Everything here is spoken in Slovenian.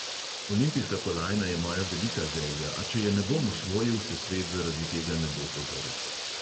Olimpijska kolajna je moja velika želja, a če je ne bom osvojil, se svet zaradi tega ne bo podrl.